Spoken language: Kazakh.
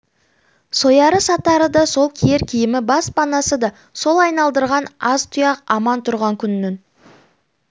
сояры сатары да сол киер киімі бас панасы да сол айналдырған аз тұяқ аман тұрған күннің